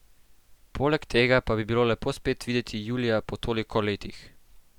Poleg tega pa bi bilo lepo spet videti Julija po toliko letih.